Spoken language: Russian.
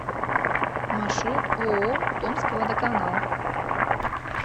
маршрут ооо томскводоканал